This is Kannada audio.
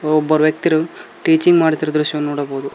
ಒಬ್ಬರ್ ವ್ಯಕ್ತಿರು ಟೀಚಿಂಗ್ ಮಾಡುತ್ತಿರುವ ದೃಶ್ಯವು ನೋಡಬಹುದು.